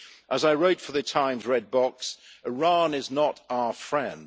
As I wrote for The Times Red Box, Iran is not our friend.